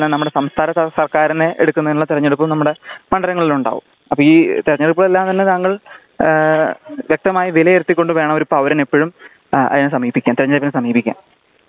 നമ്മുടെ സംസ്ഥാന സര്ക്കാരിനെ എടുക്കുന്നതിനുള്ള തിരഞ്ഞെടുപ്പും നമ്മുടെ മണ്ഡലങ്ങളിലുണ്ടാകും. അപ്പോ ഈ തിരഞ്ഞെടുപ്പില് എല്ലാം തന്നെ താങ്കൾ വ്യക്തമായി വിലയിരുത്തി കൊണ്ട് വേണം ഒരു പൌരൻ എപ്പോഴും അതിനെ സമീപിക്കാൻ തിരഞ്ഞെടുപ്പിനെ സമീപിക്കാൻ